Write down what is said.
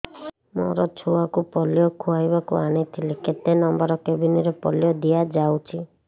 ମୋର ଛୁଆକୁ ପୋଲିଓ ଖୁଆଇବାକୁ ଆଣିଥିଲି କେତେ ନମ୍ବର କେବିନ ରେ ପୋଲିଓ ଦିଆଯାଉଛି